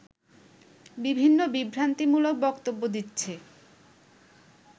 বিভিন্ন বিভ্রান্তিমূলক বক্তব্য দিচ্ছে